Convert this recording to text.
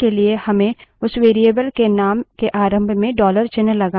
विभिन्न shells थोड़ा विभिन्न तरीकों से अनुकूलित हैं